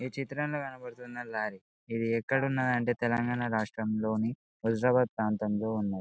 ఈ చిత్రంలో కనపడుతున్న లారీ ఇది ఏక్కడ ఉన్నది ఎంటే తెలంగాణ రాష్ట్రంలోని వాజీరాబాద్ ప్రాంతంలో ఉన్నది.